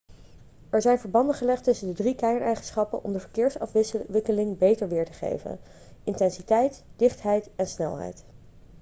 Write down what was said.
er zijn verbanden gelegd tussen de drie kerneigenschappen om de verkeersafwikkeling beter weer te geven: 1 intensiteit 2 dichtheid en 3 snelheid